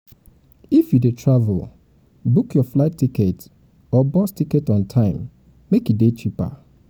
if you de travel book your flight ticket or or bus ticket on time make e de cheaper